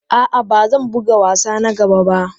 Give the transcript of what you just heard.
A'a, ba zan buga wasa na gaba ba.